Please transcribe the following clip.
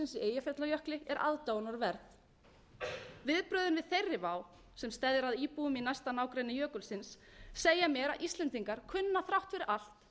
eyjafjallajökli er aðdáunarverð viðbrögðin við þeirri vá sem steðjar að íbúum í næsta nágrenni jökulsins segja mér að íslendingar kunna þrátt fyrir allt enn að